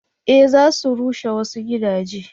eh za su rushe wasu gidaje